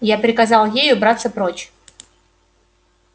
я приказал ей убраться прочь